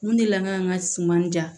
Mun delila ka n ka suman ja